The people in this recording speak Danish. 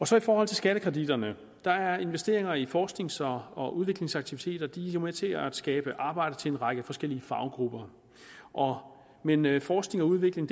så i forhold til skattekreditterne er investeringer i forsknings og og udviklingsaktiviteter jo med til at skabe arbejde til en række forskellige faggrupper men men forskning og udvikling